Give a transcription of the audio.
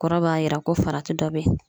Kɔrɔ b'a yira ko farati dɔ be ye